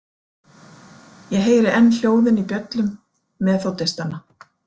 Ég heyri enn hljóðin í bjöllum meþódistanna.